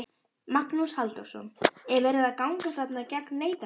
Magnús Halldórsson: Er verið að ganga þarna gegn neytendum?